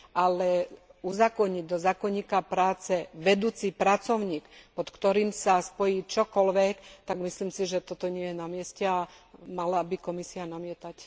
Ale uzákoniť do zákonníka práce vedúci pracovník, pod ktorým sa spojí čokoľvek, tak myslím si, že toto nie je na mieste a mala by Komisia namietať.